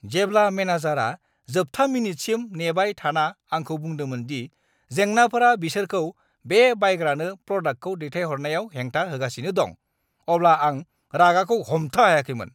जेब्ला मेनेजारआ जोबथा मिनिटसिम नेबाय थाना आंखौ बुंदोंमोन दि जेंनाफोरा बिसोरखौ बे बायग्रानो प्रदाक्टखौ दैथायहरनायाव हेंथा होगासिनो दं, अब्ला आं रागाखौ हमथा हायाखैमोन।